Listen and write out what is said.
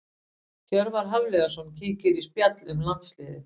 Hjörvar Hafliðason kíkir í spjall um landsliðið.